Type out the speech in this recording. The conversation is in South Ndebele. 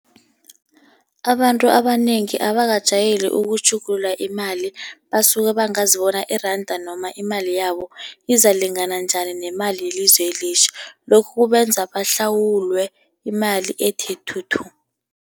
Abantu abanengi abakajayeli ukutjhugulula imali. Basuke bangazi bona iranda noma imali yabo izakulingana njani nemali yelizwe elitjha. Lokhu kubenza bahlawulwe imali ethe thuthu.